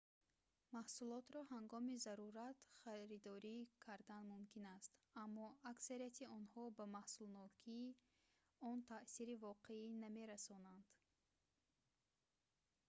маҳсулотро ҳангоми зарурат харидорӣ кардан мумкин аст аммо аксарияти онҳо ба маҳсулнокии он таъсири воқеӣ намерасонанд